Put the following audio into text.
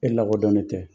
E lakodɔnnen tɛ